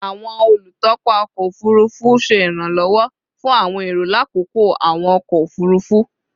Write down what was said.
Awọn olutọpa ọkọ ofurufu ṣe iranlọwọ fun awọn ero lakoko awọn ọkọ ofurufu